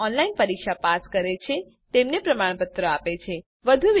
જેઓ online test pass કરે છે તેમને પ્રમાણપત્રો પણ આપીએ છીએ